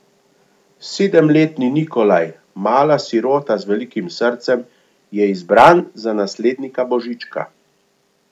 Sedemletni Nikolaj, mala sirota z velikim srcem, je izbran za naslednika Božička.